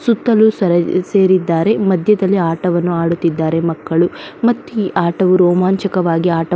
ಸುತ್ತಲೂ ಸೇರಿದ್ದಾರೆ ಮದ್ಯದಲ್ಲಿ ಆಟವನ್ನು ಆಡುತ್ತಿದ್ದಾರೆ ಮಕ್ಕಳು ಮತ್ತಿ ಆಟವು ರೋಮಾಂಚಕವಾಗಿ ಆಟವು --